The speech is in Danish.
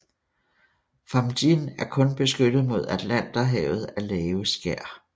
Fámjin er kun beskyttet mod Atlanterhavet af lave skær